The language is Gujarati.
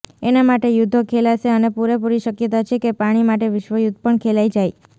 એના માટે યુદ્ધો ખેલાશે અને પૂરેપૂરી શક્યતા છે કે પાણી માટે વિશ્વયુદ્ધ પણ ખેલાઈ જાય